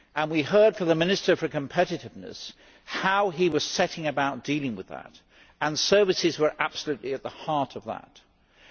We heard from the Minister for Competitiveness how he was setting about dealing with that, and services were absolutely at the heart of his approach.